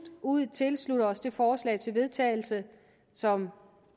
ud tilslutte os det forslag til vedtagelse som